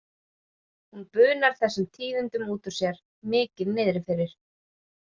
Hún bunar þessum tíðindum út úr sér, mikið niðri fyrir.